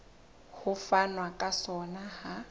ho fanwa ka sona ha